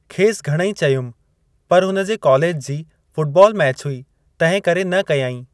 खेसि घणेई चयुमि पर हुनजे कालेज जी फुटबाल मैचि हुई तंहिं करे न कयाईं।